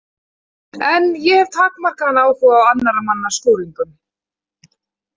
En ég hef takmarkaðan áhuga á annarra manna skúringum.